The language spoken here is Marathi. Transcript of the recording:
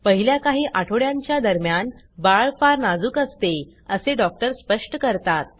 पहिल्या काही आठवड्यांच्या दरम्यान बाळ फार नाजूक असते असे डॉक्टर स्पष्ट करतात